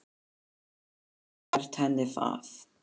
Hann gat ekki gert henni það.